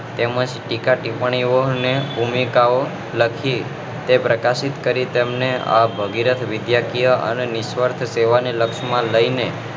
તેમ જ ટીક્કા ટીપણીઓ અને ભૂમિકાઓ લખી તે પ્રકાશિત કરી તેમને આ ભગીરથ વિદ્યાકીય અને નિશ્વાર્થ સેવાઓ ને લક્ષ માં લઈને